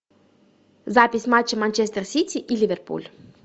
запись матча манчестер сити и ливерпуль